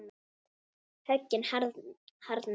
Höggin harðna.